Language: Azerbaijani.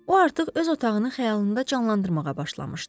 O artıq öz otağını xəyalında canlandırmağa başlamışdı.